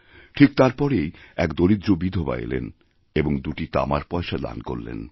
ঠিক তারপরেই এক দরিদ্র বিধবা এলেন এবং দুটি তামার পয়সা দানকরলেন